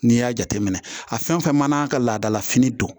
N'i y'a jateminɛ a fɛn fɛn mana ka laadala fini don